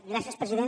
gràcies president